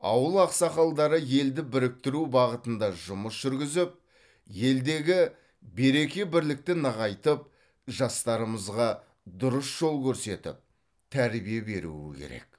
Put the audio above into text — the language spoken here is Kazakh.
ауыл ақсақалдары елді біріктіру бағытында жұмыс жүргізіп елдегі береке бірлікті нығайтып жастарымызға дұрыс жол көрсетіп тәрбие беруі керек